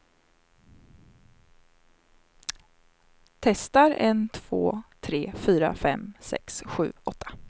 Testar en två tre fyra fem sex sju åtta.